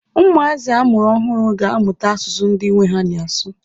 Ụmụazị amụrụ ọhụrụ ga-amụta asụsụ ndị nwe ha na-asụ.